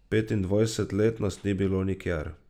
Petindvajset let nas ni bilo nikjer.